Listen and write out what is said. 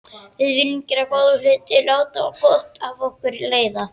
Við viljum gera góða hluti, láta gott af okkur leiða.